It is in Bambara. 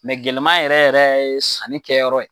gɛlɛma yɛrɛ yɛrɛ ye sanni kɛyɔrɔ ye.